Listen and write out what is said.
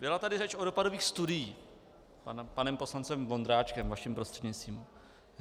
Byla tady řeč o dopadových studiích panem poslancem Vondráčkem, vaším prostřednictvím.